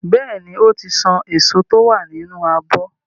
Bẹ́ẹ̀ ni, ó ti san èso tí ó wà nínú abọ́.